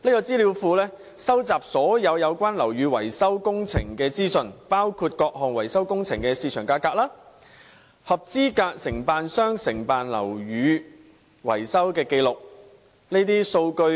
資料庫會收集所有樓宇維修工程的資訊，包括各項維修工程的市場價格、合資格承辦商承辦樓宇的維修紀錄等。